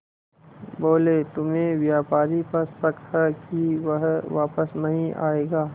बोले तुम्हें व्यापारी पर शक है कि वह वापस नहीं आएगा